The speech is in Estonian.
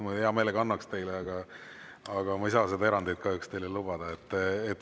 Ma hea meelega annaks teile, aga ma ei saa seda erandit kahjuks teile lubada.